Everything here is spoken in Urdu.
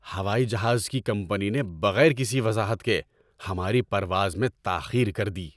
ہوائی جہاز کی کمپنی نے بغیر کسی وضاحت کے ہماری پرواز میں تاخیر کر دی۔